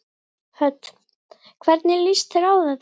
Hödd: Hvernig líst þér á þetta?